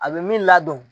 A bɛ min ladon